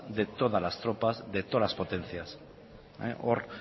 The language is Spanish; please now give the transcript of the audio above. de todas las tropas de todas las potencias hor